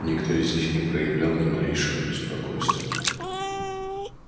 никто из них не проявлял ни малейшего беспокойства